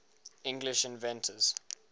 english inventors